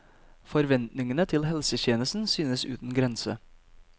Forventningene til helsetjenesten synes uten grense.